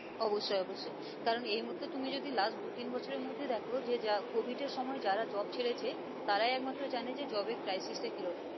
অবশ্যই অবশ্যই কারণ এই মুহর্তে তুমি যদি last দু-তিন বছরের মধ্যেই দেখো যে যা covid এর সময় যারা job ছেড়েছে তারাই একমাত্র জানে যে job এর crisis টা কি রকম